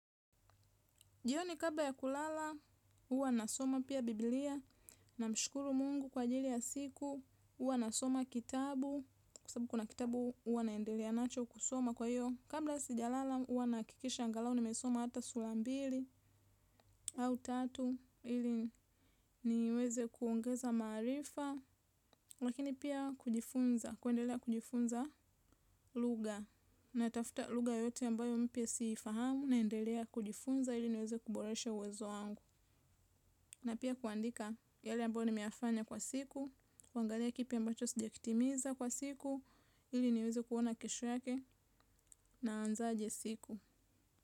Jioni kabla ya kulala, huwa nasoma pia Bibilia, na mshukuru Mungu kwa ajili ya siku, huwa nasoma kitabu, kwa sababu kuna kitabu huwa naendelea nacho kusoma kwa hiyo. Kabla sija lala, huwa nahakikisha angalau, nimesoma hata sura mbili, au tatu, ili niweze kuongeza maarifa, lakini pia kujifunza, kuendelea kujifunza lugha. Na tafuta lugha yoyote ambayo mpya si ifahamu, naendelea kujifunza ili niweze kuboreshe uwezo wangu. Na pia kuandika yale ambao nimeyafanya kwa siku. Kuangalia kipi ambacho sijakitimiza kwa siku. Ili niweze kuona kesho yake naazaje siku.